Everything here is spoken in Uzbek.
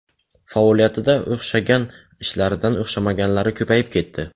Faoliyatida o‘xshagan ishlaridan o‘xshamaganlari ko‘payib ketdi.